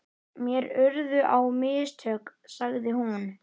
Mér urðu á mistök, sagði hún.